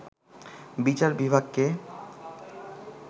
বিচার বিভাগকে